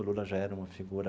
O Lula já era uma figura